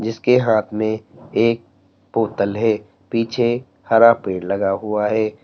इसके हाथ में एक बोतल है पीछे हरा पेड़ लगा हुआ है।